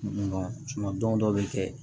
don dɔw bɛ kɛ